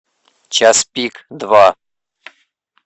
час пик два